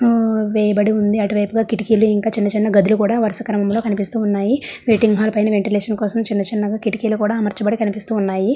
వేయబడి ఉంది అటువైపుగా కిటికీలు ఇంకా చిన్న చిన్న గదిలో కూడా వరుస క్రమంలో కనిపిస్తూ ఉన్నాయి. మీటింగ్ హాల్ పైన వెంటిలేషన్ కోసం చిన్న చిన్నగా కిటికీలు కూడా అమర్చి కూడా కనిపిస్తూ ఉన్నాయి.